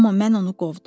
Amma mən onu qovdum.